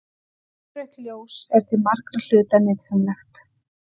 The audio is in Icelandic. Innrautt ljós er til margra hluta nytsamlegt.